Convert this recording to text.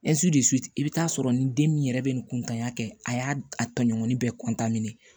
i bɛ taa sɔrɔ ni den min yɛrɛ bɛ nin kuntanya kɛ a y'a tɔɲɔgɔnin bɛɛ